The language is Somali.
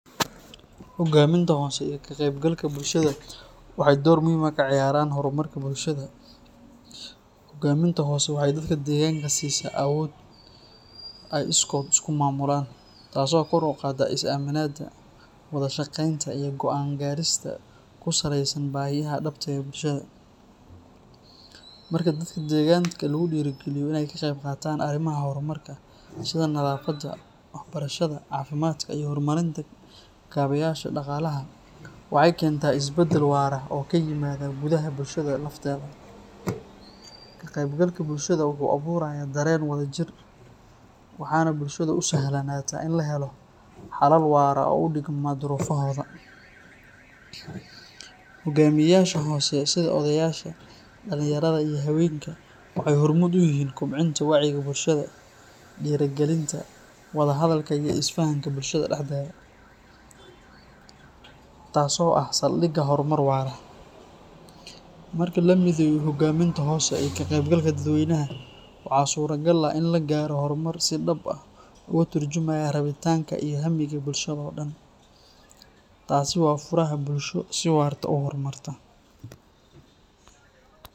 Hoggaaminta hoose iyo ka qaybgalka bulshada waxay door muhiim ah ka ciyaaraan horumarka bulshada. Hoggaaminta hoose waxay dadka deegaanka siisaa awood ay iskood isu maamulaan, taasoo kor u qaadda is-aaminida, wada shaqeynta iyo go’aan gaarista ku saleysan baahiyaha dhabta ah ee bulshada. Marka dadka deegaanka lagu dhiirrigeliyo inay ka qayb qaataan arrimaha horumarka sida nadaafadda, waxbarashada, caafimaadka iyo horumarinta kaabeyaasha dhaqaalaha, waxay keentaa isbedel waara oo ka yimaada gudaha bulshada lafteeda. Ka qaybgalka bulshada wuxuu abuurayaa dareen wadajir, waxaana bulshada u sahlanaata in la helo xalal waara oo u dhigma duruufahooda. Hoggaamiyeyaasha hoose, sida odayaasha, dhalinyarada iyo haweenka, waxay hormuud u yihiin kobcinta wacyiga bulshada, dhiirrigelinta wada hadalka iyo isfahamka bulshada dhexdeeda, taasoo ah saldhigga horumar waara. Marka la mideeyo hoggaaminta hoose iyo ka qaybgalka dadweynaha, waxaa suuragal ah in la gaaro horumar si dhab ah uga tarjumaya rabitaanka iyo hammiga bulshada oo dhan. Taasi waa furaha bulsho si waarta u horumarta.